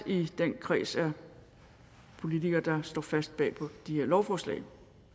i den kreds af politikere der står fast bag de her lovforslag